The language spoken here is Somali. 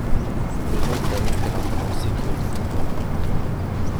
Sidee loo daweyn karaa Brown Sequard syndrome?